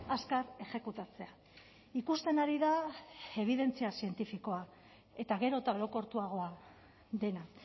azkar exekutatzea ikusten ari da ebidentzia zientifikoa eta gero eta orokortuagoa dena